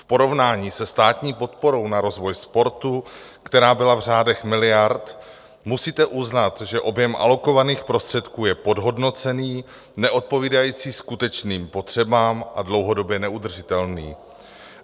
V porovnání se státní podporou na rozvoj sportu, která byla v řádech miliard, musíte uznat, že objem alokovaných prostředků je podhodnocený, neodpovídající skutečným potřebám a dlouhodobě neudržitelný.